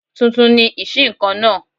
Tuntun ni ìṣíǹkan náà